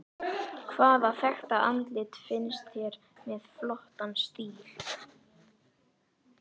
Hvaða þekkta andlit finnst þér með flottan stíl?